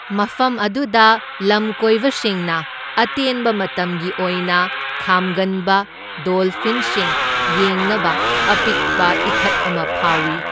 ꯃꯐꯝ ꯑꯗꯨꯗ ꯂꯝꯀꯣꯏꯕꯁꯤꯡꯅ ꯑꯇꯦꯟꯕ ꯃꯇꯝꯒꯤ ꯑꯣꯏꯅ ꯈꯥꯝꯒꯟꯕ ꯗꯣꯜꯐꯤꯟꯁꯤꯡ ꯌꯦꯡꯅꯕ ꯑꯄꯤꯛꯄ ꯏꯊꯠ ꯑꯃ ꯐꯥꯎꯏ꯫